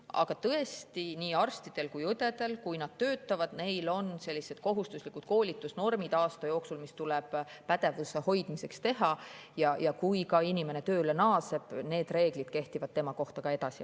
Aga tõesti, nii arstidel kui ka õdedel, kui nad töötavad, on kohustuslikud koolitusnormid aasta jooksul, mis tuleb pädevuse hoidmiseks, ja kui inimene tööle naaseb, siis need reeglid kehtivad tema kohta edasi.